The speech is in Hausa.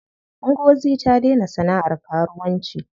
Ngozi ta daina sana'ar karuwanci.